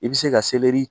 I bɛ se ka